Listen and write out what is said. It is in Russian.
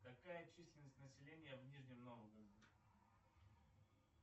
какая численность населения в нижнем новгороде